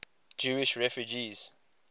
jewish refugees